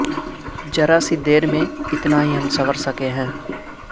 ذرا سی دیر میں اتنا ہی ہم سنور سکے ہیں